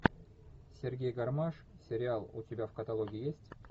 сергей гармаш сериал у тебя в каталоге есть